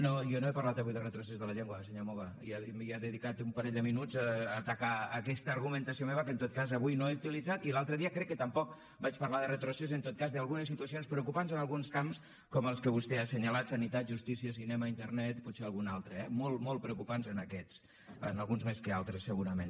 no jo no he parlat avui de retrocés de la llengua senyor moga i ha dedicat un parell de minuts a atacar aquesta argumentació meva que en tot cas avui no he utilitzat i l’altre dia crec que tampoc vaig parlar de retrocés en tot cas d’algunes situacions preocupants en alguns camps com els que vostè ha senyalat sanitat justícia cinema internet i potser algun altre eh molt molt preocupants en aquests en alguns més que altres segurament